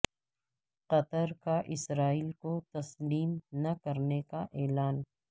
قطر کا اسرائیل کو تسلیم نہ کرنے کا اعلان